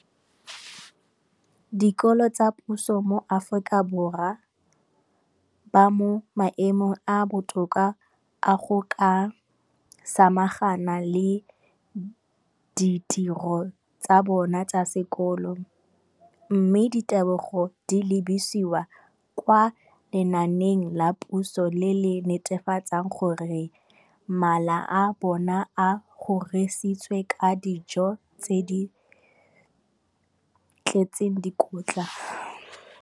Dikolo tsa puso mo Aforika Borwa ba mo maemong a a botoka a go ka samagana le ditiro tsa bona tsa sekolo, mme ditebogo di lebisiwa kwa lenaaneng la puso le le netefatsang gore mala a bona a kgorisitswe ka dijo tse di tletseng dikotla.